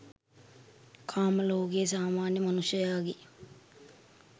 කාම ලෝකයේ සාමාන්‍ය මනුෂ්‍යයාගේ